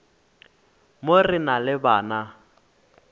mo re na le bana